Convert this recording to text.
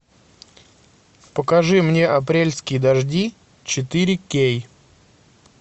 покажи мне апрельские дожди четыре кей